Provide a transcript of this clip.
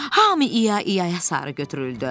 Hamı ia-iaya sarı götürüldü.